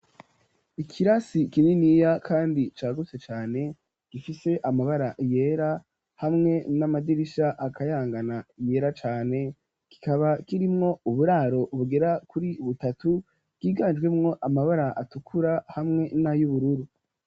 Ikirasi kininiya kandi cagutse cane gifise amabara yera hamwe n'amadirisha akayangana yera cane kikaba kirimwo uburaro bugera kuri butatu bwiganjwe mwo amabara atukura hamwe na y'ubururu.